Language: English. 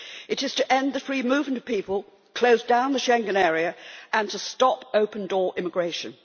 It is to end the free movement of people, close down the Schengen Area and stop open door immigration.